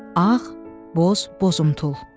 Ağ, boz, bozumtul.